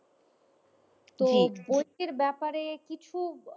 বইটির ব্যাপারে কিছু,